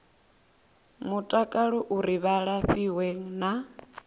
mutakalo uri vha lafhiwe na